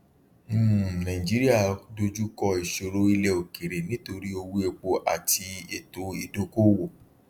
um nàìjíríà dojú kọ ìṣòro ilẹ òkèèrè nítorí owó epo àti ètò ìdókoowò